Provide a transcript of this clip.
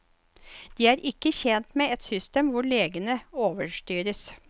De er ikke tjent med et system hvor legene overstyres.